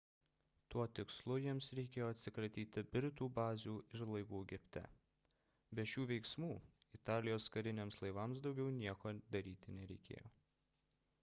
tuo tikslu jiems reikėjo atsikratyti britų bazių ir laivų egipte be šių veiksmų italijos kariniams laivams daugiau nieko daryti nereikėjo